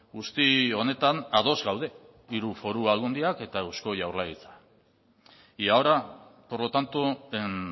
guzti honetan ados gaude hiru foru aldundiak eta eusko jaurlaritza y ahora por lo tanto en